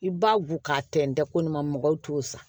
I b'a gu k'a tɛntɛn ko nin ma mɔgɔw t'o san